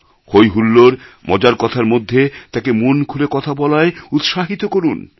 হই হুল্লোড় মজার কথার মধ্যে তাকে মন খুলে কথা বলায় উৎসাহিত করুন